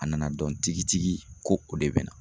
A nana dɔn tigitigi ko o de bɛ na.